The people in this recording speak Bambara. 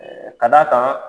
Ɛɛ Ka d'a kan